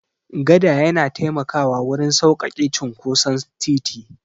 Gada yana taimakawa wurin sauƙaƙe cinkoson titi.